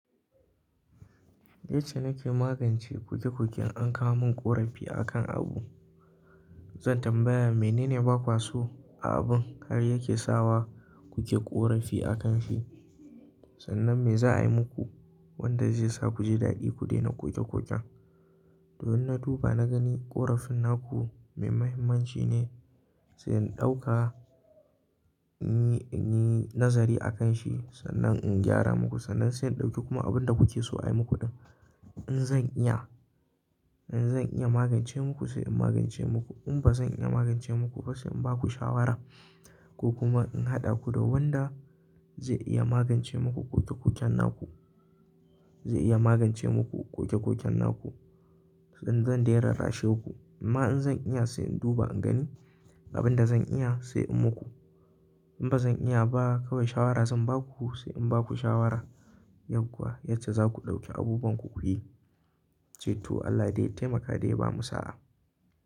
Yace na ke magance koke-koken an kawo min ƙorafi a kan abu. Zan tambaya menene ba kwaso a abun har yake sawa kuke ƙorafi a kan shi. Sannan me za a yi muku wanda zai sa ku ji daɗi ku daina koke-koken. Domin na duba na gani ƙorafin naku mai mahimmanci ne, sai in ɗauka in yi nazari a kan shi. Sannan in gyara muku, sannan sai in ɗauki kuma abin da kuke so a yi muku ɗin. In zan iya, in zan iya magance muku sai in magance muku. In ba zan iya magance muku ba sai in ba ku shawara ko kuma in haɗa ku da wanda zai iya magance muku koke-koken naku, zai iya magance muku koke-koken naku. In zan daina rashaku, amma in zan iya sai in duba in gani abin da zan iya sai in muku. In ba zan iya ba kawai shawara zan ba ku sai in ba ku shawara yadda yace za ku ɗauki abubuwan ku ku yi. Ceto Allah dai ya taimaka dai ya bamu sa'a.